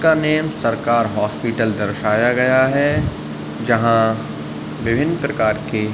उसका नेम सरकार हॉस्पिटल दर्शाया गया है। जहाँ विभिन्न प्रकार की --